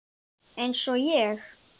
Eins og ég?